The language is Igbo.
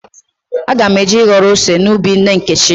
Aga m eje ịghọrọ ose n'ubi nne Nkechi.